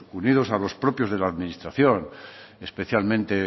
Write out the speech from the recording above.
unidos a los propios de la administración especialmente